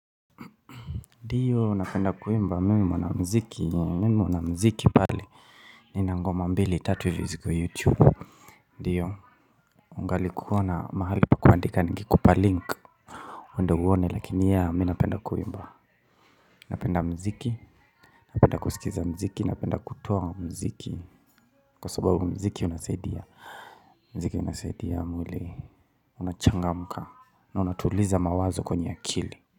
Ndiyo, napenda kuimba. Mimi ni mwanamuziki. Nina ngoma mbili, tatu ziko YouTube. Ndiyo, ukikaona mahali pa kuandika ningekupa link uende uone. Lakini mi napenda kuimba, napenda muziki, napenda kusikiliza muziki, napenda kutoa muziki kwa sababu muziki unasaidia mwili, unachangamka na unatuliza mawazo kwenye akili.